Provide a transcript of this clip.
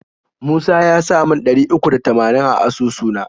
Musa yasa mun ɗari uku da tamanin a asusu na.